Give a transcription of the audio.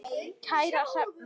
Kæra Hrefna